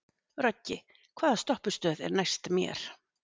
Röggi, hvaða stoppistöð er næst mér?